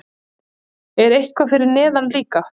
Er eitthvað fyrir neðan líka?